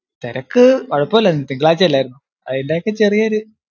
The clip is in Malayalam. തിരക്ക്, കുഴപ്പമില്ലായിരുന്നു തിങ്കളാഴ്ച്ച അല്ലായിരുന്നോ? അതിന്റെയൊക്കെ ചെറിയൊരു